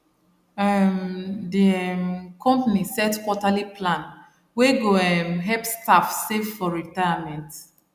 um the um company set quarterly plan wey go um help staff save for retirement